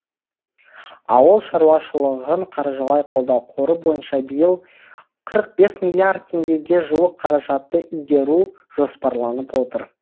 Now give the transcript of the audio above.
ауыл шаруашылығын қаржылай қолдау қоры бойынша биыл қырық бес миллиард теңгеге жуық қаражатты игеру жоспарланып отыр